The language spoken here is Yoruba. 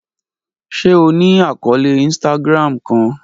Ṣe o ni akọọlẹ Instagram kan?